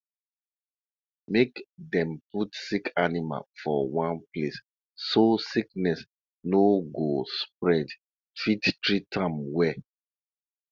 the person wey dey watch the shrine don ask of two ducks plus one goat to take do animal sacrifice for midnight.